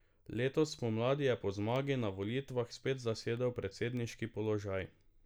Letos spomladi je po zmagi na volitvah spet zasedel predsedniški položaj.